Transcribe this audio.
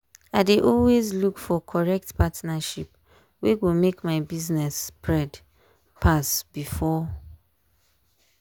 i dey always look for correct partnership wey go make my small business spread pass before.